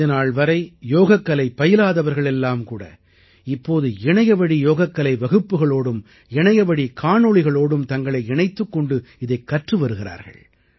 இதுநாள்வரை யோகக்கலை பயிலாதவர்கள் எல்லாம்கூட இப்போது இணையவழி யோகக்கலை வகுப்புகளோடும் இணையவழி காணொளிகளோடும் தங்களை இணைத்துக்கொண்டு இதைக் கற்று வருகிறார்கள்